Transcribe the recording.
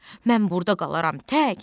Mən burda qalaram tək,